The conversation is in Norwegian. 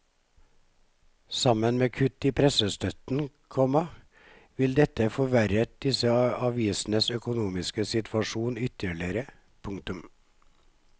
Sammen med kutt i pressestøtten, komma ville dette forverret disse avisenes økonomiske situasjon ytterligere. punktum